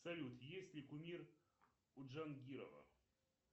салют есть ли кумир у джангирова